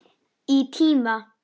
Í tíma.